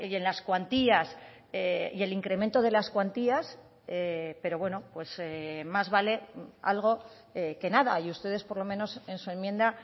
en las cuantías y el incremento de las cuantías pero bueno más vale algo que nada y ustedes por lo menos en su enmienda